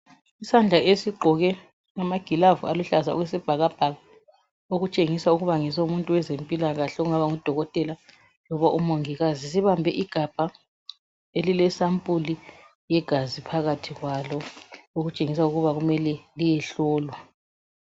Isandla esigqoke amagilavu aluhlaza okwesibhakabhaka okutshengisa ukuba ngesomuntu wezempilakahle ongaba ngudokotela loba umongikazi. Sibambe igabha elilesampuli yegazi phakathi okutshengisa ukuba kumele liyehlolwa.